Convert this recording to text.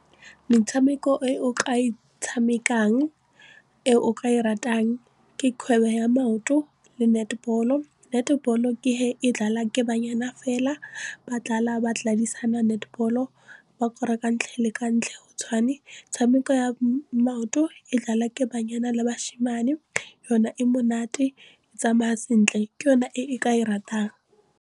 Metshameko e o ka e tshamekang e o ka e ratang ke kgwebo ya maoto le netball-o, netball-o ke he e ke banyana fela ba ba netball-o ba ka ntlha ela le ka ntlha ela tshwane tshameko ya maoto e ke banyana le basimane yona e monate e tsamaya sentle ke yona e ke e ratang.